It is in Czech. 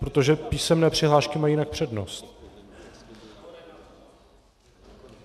Protože písemné přihlášky mají jinak přednost.